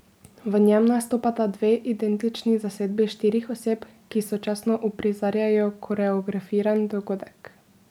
V njem nastopata dve identični zasedbi štirih oseb, ki sočasno uprizarjajo koreografiran dogodek.